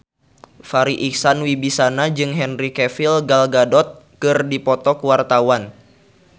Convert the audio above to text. Farri Icksan Wibisana jeung Henry Cavill Gal Gadot keur dipoto ku wartawan